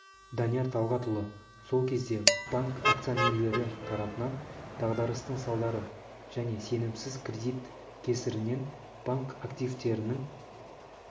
данияр талғатұлы сол кезде банк акционерлері тарапынан дағдарыстың салдары және сенімсіз кредит кесірінен банк активтерінің